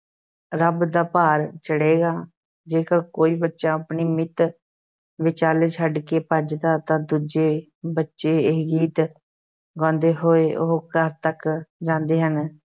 ਰੱਬ ਦਾ ਭਾਰ ਚੜ੍ਹੇਗਾ, ਜੇਕਰ ਕੋਈ ਬੱਚਾ ਆਪਣੀ ਮਿੱਤ ਵਿਚਾਲੇ ਛੱਡ ਕੇ ਭੱਜਦਾ ਹੈ ਤਾਂ ਦੂਜੇ ਬੱਚੇ ਇਹ ਗੀਤ ਗਾਉਂਦੇ ਹੋਏ ਉਹ ਘਰ ਤੱਕ ਜਾਂਦੇ ਹਨ।